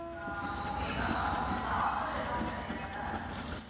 ஹம் okay ma'am அப்போ இதுல offer எதுவும் கிடையாதா ma'am